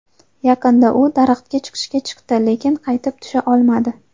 Yaqinda u daraxtga chiqishga chiqdi, lekin qaytib tusha olmadi.